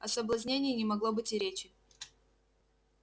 о соблазнении не могло быть и речи